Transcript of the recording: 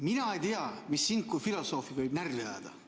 Mina ei tea, mis sind kui filosoofi võib närvi ajada.